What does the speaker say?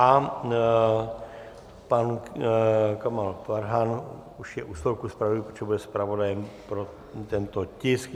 A pan Kamal Farhan už je u stolku zpravodajů, protože bude zpravodajem pro tento tisk.